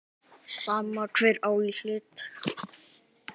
Sama hver á í hlut.